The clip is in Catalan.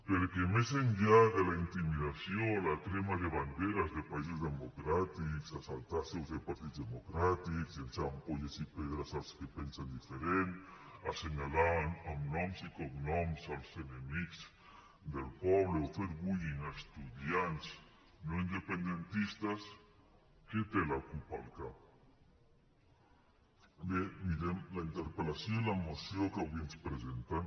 perquè més enllà de la intimidació la crema de banderes de països democràtics assaltar seus de partits democràtics llançar ampolles i pedres als que pensen diferent assenyalar amb noms i cognoms els enemics del poble o fer bullyingbé mirem la interpel·lació i la moció que avui ens presenten